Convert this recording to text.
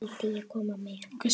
Vildi ég koma með?